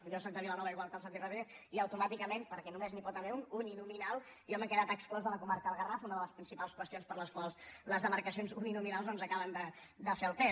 jo sóc de vilanova igual que el santi rodríguez i automàticament perquè només n’hi pot haver un uninominal jo m’he quedat exclòs de la comarca del garraf una de les principals qüestions per les quals les demarcacions uninominals no ens acaben de fer el pes